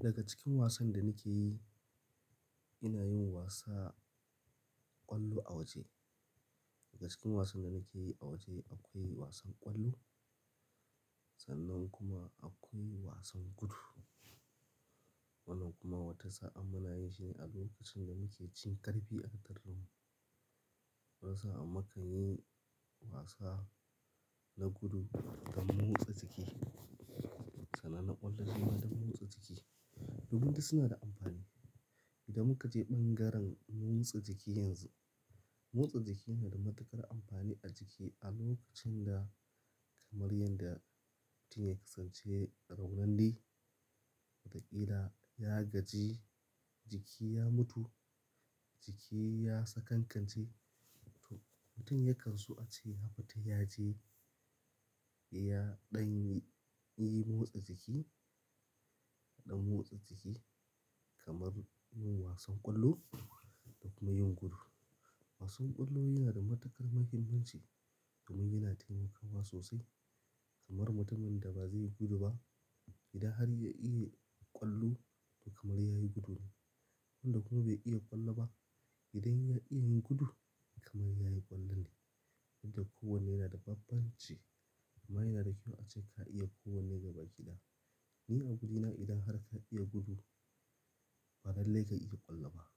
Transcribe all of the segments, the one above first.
Daga cikin wasan da nake yi, ina yin wasa ƙwallo a waje. Daga cikin wasan da nake yi a waje akwai wasan ƙwallo sannan kuma akwai wasan gudu. Wannan kuma wata sa'an muna yi shine a lokacin da muke cin karfi a taron mu. Wata sa'an muka yi wasa na gudu don motsa jiki. Sana na ƙwallo kuma don motsa jiki. Domin duk suna da amfani. Idan muka je ɓangaren motsa jiki yanzu, motsa jiki na da matuƙar amfani a jiki a lokacin da kamar yadda mutum ya kasance raunande. Watakila ya gaji, jiki ya mutu, jiki ya sakankance. To mutum yakan so a ce ya fita yaje ya ɗan yi yi motsa jiki, ɗan motsa jiki kamar yin wasan ƙwallo da kuma yin gudu. Wasan ƙwallo yana da matuƙar mahimmanci domin yana taimakawa sosai kamar mutumin da ba zai yi gudu ba. Idan har ya iya ƙwallo to kamar yayi gudu ne. Tunnda ko bai iya ƙwallo ba idan ya iya yin gudu kamar yayi ƙwallo ne. Dinda ku wanne yana da bambanci amma yana da kyau a ce ka iya ko wanne gaba ki ɗaya. Ni a ganina idan har ka iya gudu, ba lallai ka iya ƙwallo ba.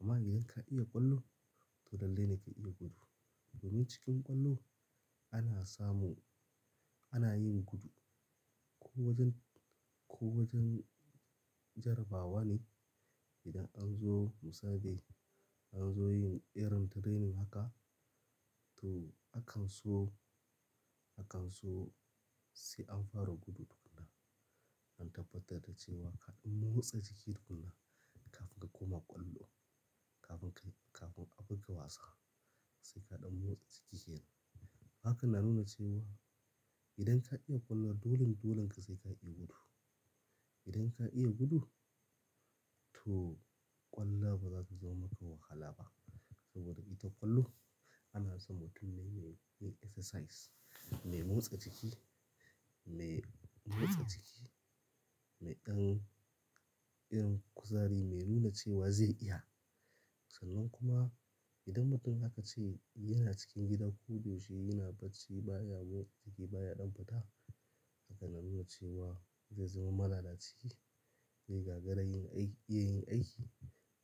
Amma idan ka iya ƙwallo to lallai ne ka iya gudu. Domin cikin ƙwallo ana samun, ana yin gudu. Ko wajen, ko wajen jarabawa ne. Idan an zo musabai, an zo yin irin training haka to akan so, akan so sai an fara gudu tukuna. An tabbatar da cewa kaɗan motsa jiki tukuna kafin ka koma ƙwallo, kafin ka yi, kafin a buga wasa sai kaɗan motsa jiki. Haka na nuna cewa idan ka iya ƙwallo dolin, dolan ka sai ka iya gudu. Idan ka iya gudu to ƙwallo ba zata zama maka wahala ba saboda ita ƙwallo ana san mtumun dai mai exercise, mai motsa jiki, mai motsa jiki, mai ɗan irin kuzari mai nuna cewa zai iya. Sannan kuma idan mutum aka ce yana cikin gida ko da yaushe yana bacci baya motsa jiki baya ɗan fita. Haka na nuna cewa zai zama malala ci, zai gagara yin aiki, iya yin aiki.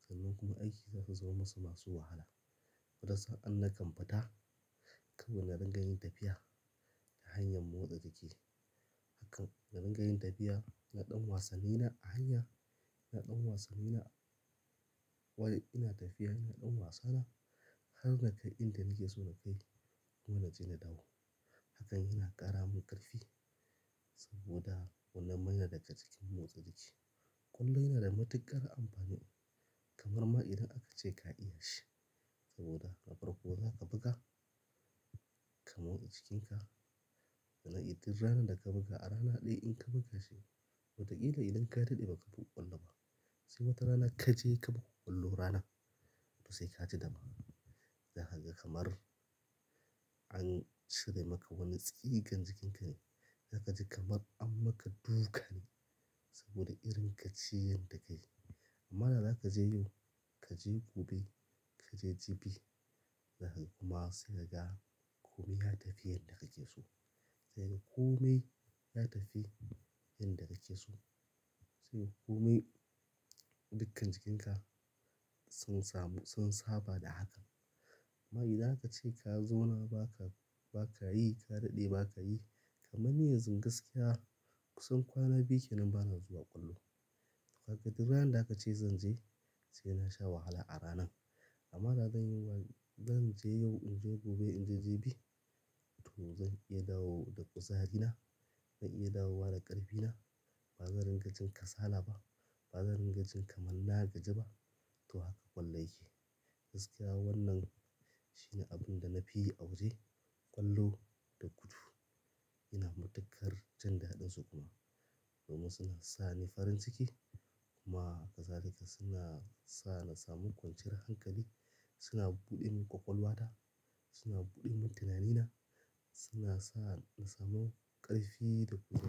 Sannan kuma aiki za su zama masu wahala. Gaskiya in nakam fita kawai na dinga yin tafiya ta hanyar motsa jiki. Hakan na dinga yin tafiya, ina ɗan wasanni na a hanya, ina ɗan wasanni na wajen ina tafiya ina ɗan wasa na har na kai inda nake so na kai. Har naje na na dawo. Hakan yana ƙara min ƙarfi saboda wannan mai yana daga cikin motsa jiki. Ƙwallo yana da matuƙar amfani kamar ma idan aka ce ka iya shi saboda na farko za ka buga ka motsa jikinka. Idan tin rana da ka buga a rana ɗaya in ka buga shi watakila idan ka daɗe ba ka buga ƙwallo ba. Sai watarana kaje ka buga ƙwallo ranan to sai ka ji daban. Zaka ga kamar an cire maka wani tsigen jikinka. Zaka ji kamar an maka duka ne saboda irin ka ci yadda ka yi. Amma da za ka je yin kaje gobe kaje jibi. Da haka kuma sai ka ga kome ya tafi yadda yake so. Sai kome ya tafi yadda yake so. Sai kome dukkan jikinka sun samu, sun saba da haka. Amma idan aka ce ka zo na ba ka, ba ka yi ka daɗe ba ka yi kamar ni yanzu gaskiya kusan kwana biyu kenan bana zuwa ƙwallo. Kaga duk ranar da aka ce zan je sai na sha wahala a ranan. Amma da zan yi zan je yau, in je gobe, in je jibi to zan iya dawo da kuzarina, zan iya dawo da ƙarfina. Ba zan ringa jin kasala ba, ba zan ringa jin kaman na ya gaji ba to haka ƙwallo yake. Gaskiya wannan shine abin da na fi yi a waje ƙwallo da gudu. Yana matuƙar ji da ɗin su kuma domin suna sa ni farin ciki kuma kazalika suna sa na samu kwanciyar hankali. Suna buɗe min ƙwaƙwalwa ta, suna buɗe mun tunanina, suna sa na samu ƙarfi da kuza.